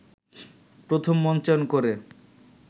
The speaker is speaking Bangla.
প্রথম মঞ্চায়ন করে